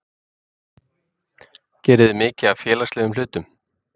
geriði mikið af félagslegum hlutum?